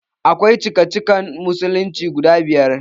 Akwai cikacikan musulunci guda biyar